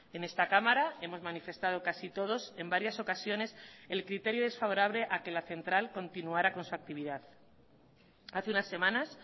en esta cámara hemos manifestado casi todos en varias ocasiones el criterio desfavorable a que la central continuara con su actividad hace unas semanas